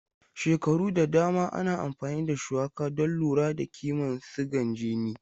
Shekaru da dama ana amfani da shuwaka don lura da kiman sigan jini.